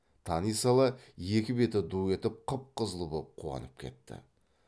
тани сала екі беті ду етіп қып қызыл боп қуанып кетті